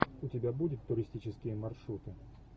у тебя будет туристические маршруты